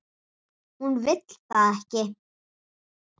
Hún vill það ekki.